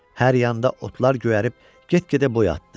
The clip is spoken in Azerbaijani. Hər yanda otlar göyərib get-gedə boy atdı.